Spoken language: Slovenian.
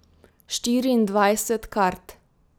Štiriindvajset kart.